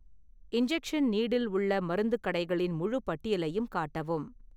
injection needle உள்ள மருந்துக் கடைகளின் முழுப் பட்டியலையும் காட்டவும்